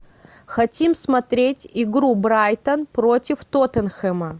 хотим смотреть игру брайтон против тоттенхэма